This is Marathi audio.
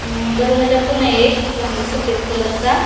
अम दरवाजा पणय एक पण सफेद कलर चा --